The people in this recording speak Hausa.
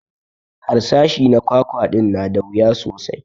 Harsashi na kwakwa din na da wuya sosai